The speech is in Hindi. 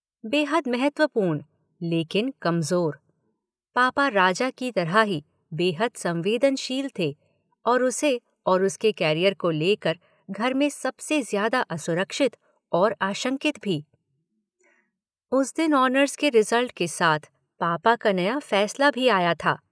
बेहद महत्वपूर्ण लेकिन कमज़ोर। पापा राजा की तरह ही बेहद संवेदनशील थे और उसे और उसके कॅरियर को ले कर घर में सबसे ज्यादा असुरक्षित और आशंकित भी। उस दिन ऑनर्स के रिजल्ट के साथ पापा का नया फैसला भी आया था।